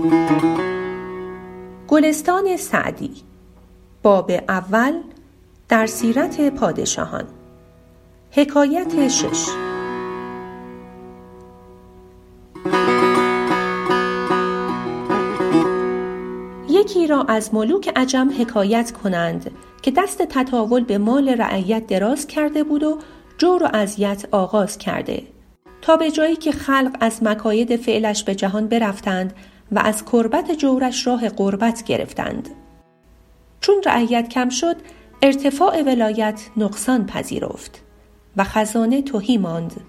یکی را از ملوک عجم حکایت کنند که دست تطاول به مال رعیت دراز کرده بود و جور و اذیت آغاز کرده تا به جایی که خلق از مکاید فعلش به جهان برفتند و از کربت جورش راه غربت گرفتند چون رعیت کم شد ارتفاع ولایت نقصان پذیرفت و خزانه تهی ماند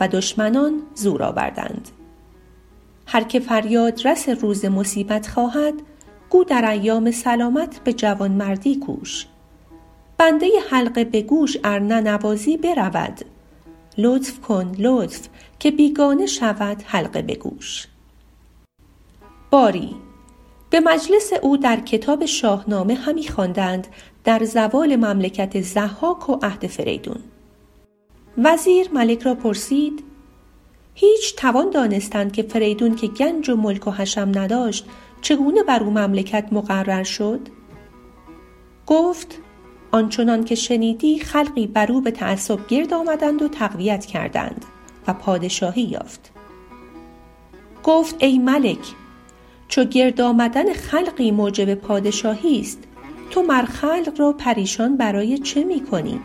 و دشمنان زور آوردند هر که فریاد رس روز مصیبت خواهد گو در ایام سلامت به جوانمردی کوش بنده حلقه به گوش ار ننوازی برود لطف کن لطف که بیگانه شود حلقه به گوش باری به مجلس او در کتاب شاهنامه همی خواندند در زوال مملکت ضحاک و عهد فریدون وزیر ملک را پرسید هیچ توان دانستن که فریدون که گنج و ملک و حشم نداشت چگونه بر او مملکت مقرر شد گفت آن چنان که شنیدی خلقی بر او به تعصب گرد آمدند و تقویت کردند و پادشاهی یافت گفت ای ملک چو گرد آمدن خلقی موجب پادشاهیست تو مر خلق را پریشان برای چه می کنی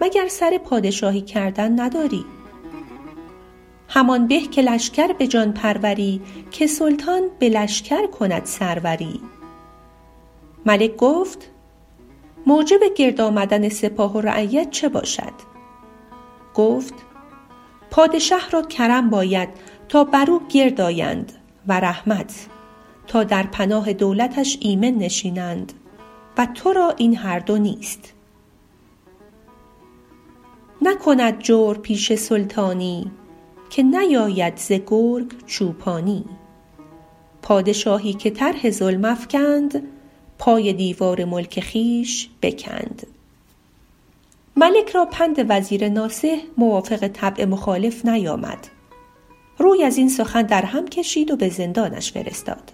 مگر سر پادشاهی کردن نداری همان به که لشکر به جان پروری که سلطان به لشکر کند سروری ملک گفت موجب گرد آمدن سپاه و رعیت چه باشد گفت پادشه را کرم باید تا بر او گرد آیند و رحمت تا در پناه دولتش ایمن نشینند و ترا این هر دو نیست نکند جورپیشه سلطانی که نیاید ز گرگ چوپانی پادشاهی که طرح ظلم افکند پای دیوار ملک خویش بکند ملک را پند وزیر ناصح موافق طبع مخالف نیامد روی از این سخن در هم کشید و به زندانش فرستاد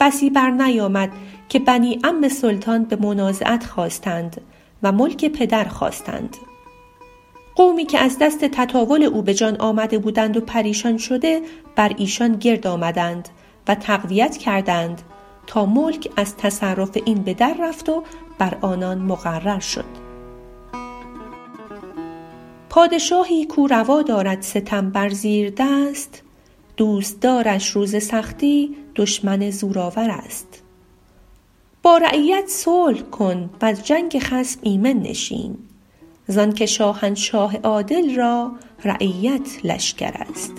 بسی بر نیامد که بنی عم سلطان به منازعت خاستند و ملک پدر خواستند قومی که از دست تطاول او به جان آمده بودند و پریشان شده بر ایشان گرد آمدند و تقویت کردند تا ملک از تصرف این به در رفت و بر آنان مقرر شد پادشاهی کاو روا دارد ستم بر زیردست دوستدارش روز سختی دشمن زورآورست با رعیت صلح کن وز جنگ خصم ایمن نشین زان که شاهنشاه عادل را رعیت لشکرست